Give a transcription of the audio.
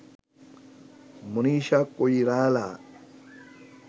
Manisha Koirala